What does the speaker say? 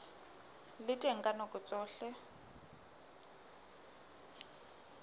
le teng ka nako tsohle